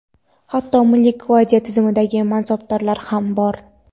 hatto Milliy gvardiya tizimidagi mansabdorlar ham bor.